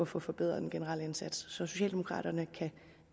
få forbedret den generelle indsats så socialdemokraterne kan